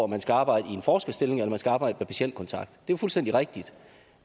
man skal arbejde i en forskerstilling eller man skal arbejde med patientkontakt det er jo fuldstændig rigtigt